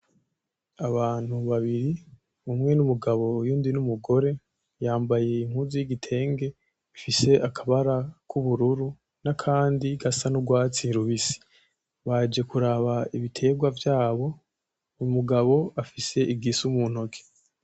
Abantu babiri, umwe ni umugabo uyundi ni umugore yambaye impuzu y'igitenge ifise akabara k'ubururu n'akandi gasa n'urwatsi rubisi. Baje kuraba ibiterwa vyabo, umugabo afise igisu mu ntoki.